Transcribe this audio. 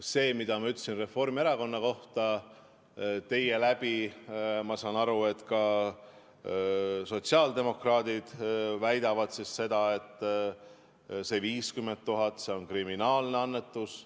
Seda ma ütlesin Reformierakonna kohta, aga teie läbi ma saan aru, et ka sotsiaaldemokraadid väidavad, et see 50 000 on kriminaalne annetus.